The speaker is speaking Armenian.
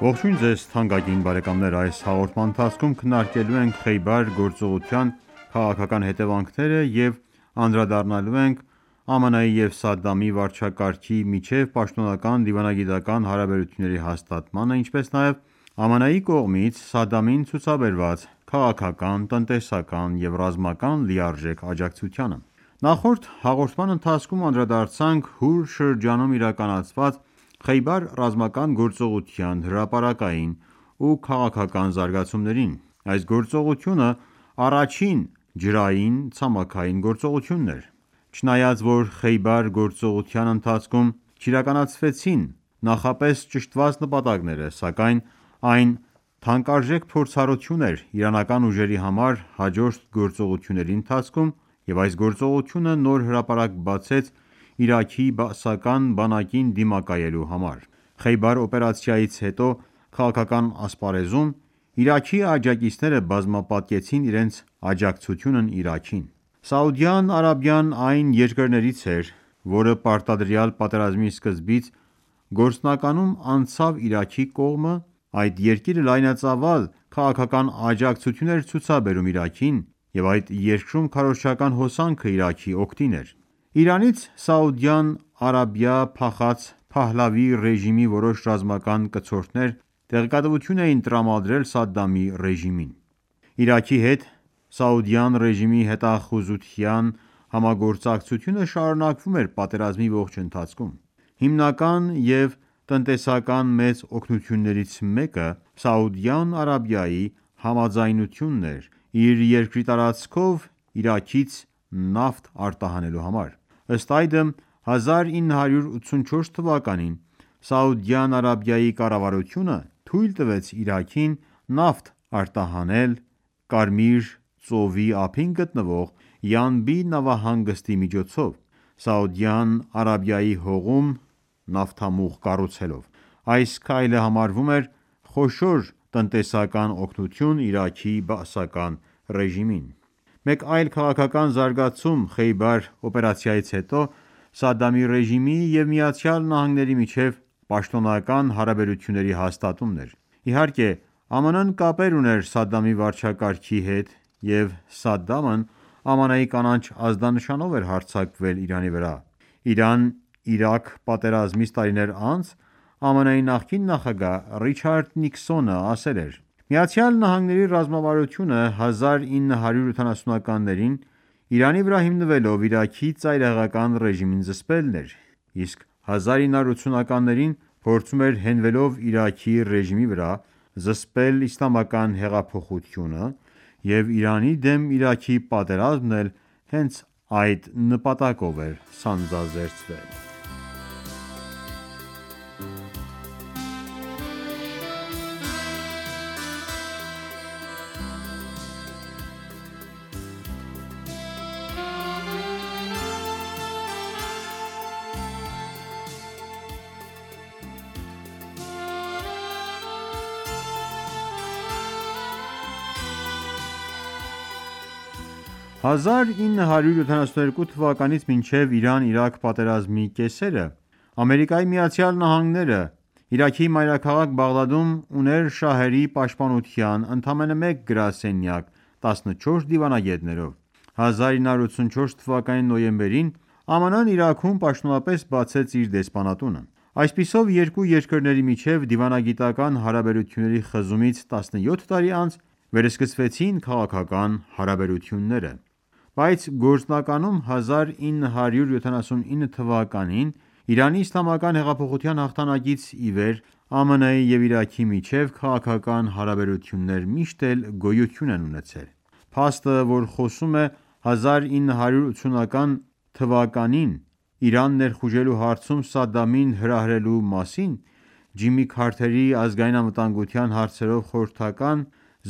Ողջույն ձեզ թանկագին բարեկամներ: Այս հաղորդման ընթացքում քննարկելու ենք Խեյբար գործողության քաղաքական հետևանքները և անդրադառնալու ենք ԱՄՆ-ի և Սադամի վարչակարգի միջև պաշտոնական դիվանագիտական հարաբերությունների հաստատմանը, ինչպես նաև ԱՄՆ-ի կողմից Սադդամին ցուցաբերված քաղաքական, տնտեսական և ռազմական լիարժեք աջակցությանը: Նախորդ հաղորդման ընթացքում անդրադարձանք Հուր շրջանում իրականացված Խեյբար ռազմական գործողության հրապարակային ու քաղաքակական զարգացումներն: Այս գործողությունը առաջին ջրային-ցամաքային գործողությունն էր: Չնայած որ Խեյբար գործողության ընթացքում չիրականացվեցին նախապես ճշտված նպատակները, սակայն այն թանկարժեք փորձառություն էր իրանական ուժերի համար հաջորդ գործողությունների ընթացքում և այս գործողությունը նոր հրապարակ բացեց Իրաքի բաասական բանակին դիմակայելու համար: Խեյբար օպերացիայից հետո քաղաքական ասպարեզում Իրաքի աջակիցները բազմապատկեցին իրենց աջակցությունն Իրաքին։ Սաուդյան Արաբիան այն երկրներից էր, որը պարտադրյալ պատերազմի սկզբից գործնականում անցավ Իրաքի կողմը։ Այդ երկիրը լայնածավալ քաղաքական աջակցություն էր ցուցաբերում Իրաքին, և այդ երկրում քարոզչական հոսանքն Իրաքի օգտին էր: Իրանից Սաուդյան Արաբիա փախած Փահլավի ռեժիմի որոշ ռազմական կցորդներ տեղեկատվություն էին տրամադրել Սադամի ռեժիմին: Իրաքի հետ Սաուդյան ռեժիմի հետախուզության համագործակցությունը շարունակվում էր պատերազմի ողջ ընթացքում: Հիմնական և տնտեսական մեծ օգնություններից մեկը Սաուդյան Արաբիայի համաձայնությունն էր՝իր երկրի տարածքով Իրաքից նավթ արտահանելու համար: Ըստ այդմ 1984 թվականին Սաուդյան Արաբիայի կառավարությունը թույլ տվեց Իրաքին նավթ արտահանել Կարմիր ծովի ափին գտնվող Յանբի նավահանգստի միջոցով՝ Սաուդյան Արաբիայի հողում նավթամուղ կառուցելով։ Այս քայլը համարվում էր խոշոր տնտեսական օգնություն Իրաքի Բաասական ռեժիմին: Մեկ այլ քաղաքական զարգացում Խեյբար օպերացիայից հետո Սադամի ռեժիմի և ԱՄՆ-ի միջև պաշտոնական հարաբերությունների հաստատումն էր։ Իհարկե, ԱՄՆ-ն կապեր ուներ Սադամի վարչակարգի հետ և Սադամն ԱՄՆ-ի կանաչ ազդանշանով էր հարձակվել Իրանի վրա: Իրան-Իրաք պատերազմից տարիներ անց ԱՄՆ-ի նախկին նախագահ Ռիչարդ Նիքսոնը ասել էր.«ԱՄՆ ռազմավարությունը 1970-ականներին Իրանի վրա հիմնվելով Իրաքի ծայրահեղական ռեժիմին զսպելն էր, իսկ 1980-ականներին, փորձում էր հենվելով Իրաքի ռեժիմի վրա զսպել Իսլամական հեղափոխությունը և Իրանի դեմ Իրաքի պատերազմն էլ հենց այդ նպատակով էր սանձազերծվել»: 1972 թվականից մինչև Իրան-Իրաք պատերազմի կեսերը ԱՄՆ-ն Իրաքի մայրաքաղաք Բաղդադում ուներ շահերի պաշտպանության ընդամենը մեկ գրասենյակ 14 դիվանագետներով: 1984 թվականի նոյեմբերին ԱՄՆ-ն Իրաքում պաշտոնապես բացեց իր դեսպանատունը։ Այսպիսով, երկու երկրների միջև դիվանագիտական հարաբերությունների խզումից 17 տարի անց վերսկսվեցին քաղաքական հարաբերությունները։ Բայց գործնականում 1979 թվականին Իրանի իսլամական հեղափոխության հաղթանակից ի վեր ԱՄՆ-ի և Իրաքի միջև քաղաքական հարաբերություններ միշտ էլ գոյություն են ունեցել: Փաստը, որը խոսում է 1980 թվականին Իրան ներխուժելու հարցում Սադամին հրահրելու մասին, Ջիմի Քարթերի ազգային անվտանգության հարցերով խորհրդական